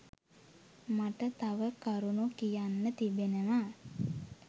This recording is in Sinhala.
මට තව කරුණු කියන්න තිබෙනවා